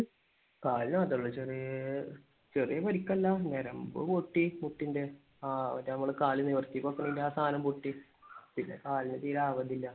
കാലിന് മാത്രം അല്ല. ചെറിയ പരിക്കല്ല. ഞെരമ്പ് പൊട്ടി മുട്ടിന്റെ. ആഹ് മറ്റേ നമുക്ക് കാലൊക്കെ നിവർത്തി വെക്കാനെങ്കിൽ ആ സാദനം പൊട്ടി. പിന്നെ കാലിന് തീരെ ആവതില്ല.